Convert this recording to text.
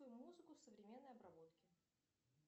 музыку в современной обработке